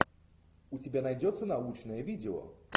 у тебя найдется научное видео